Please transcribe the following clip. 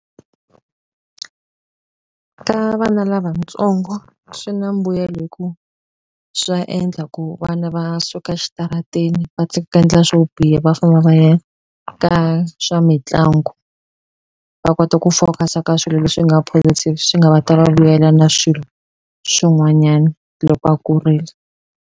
Ka vana lavatsongo swi na mbuyelo hi ku swa endla ku vana va suka xitarateni va ku endla swo biha va famba va ya ka swa mitlangu va kota ku focus-a ka swilo leswi nga swi nga va vuyela na swilo swin'wanyana loko a kurile.